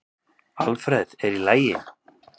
Alfreð, er í lagi?